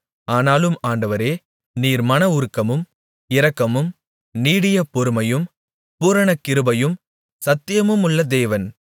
ஆனாலும் ஆண்டவரே நீர் மனவுருக்கமும் இரக்கமும் நீடிய பொறுமையும் பூரண கிருபையும் சத்தியமுமுள்ள தேவன்